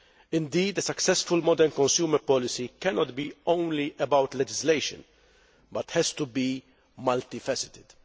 Indeed, a successful modern consumer policy cannot be only about legislation, but has to be multi faceted.